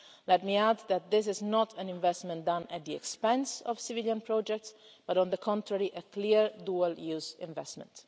Let me add that this is not an investment done at the expense of civilian projects but, on the contrary, a clear dual use investment.